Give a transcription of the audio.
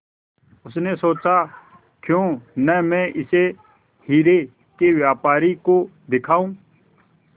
उसने सोचा क्यों न मैं इसे हीरे के व्यापारी को दिखाऊं